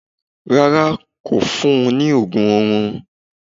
Rárá, kò fún un ní ògùn orun